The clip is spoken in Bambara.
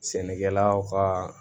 Sɛnɛkɛlaw kaa